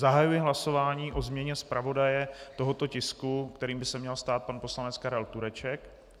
Zahajuji hlasování o změně zpravodaje tohoto tisku, kterým by se měl stát pan poslanec Karel Tureček.